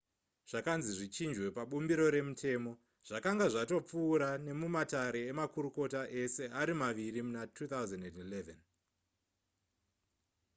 zvakanzi zvichinjwe pabumbiro remutemo zvakanga zvatopfuura nemumatare emakurukota ese ari maviri muna 2011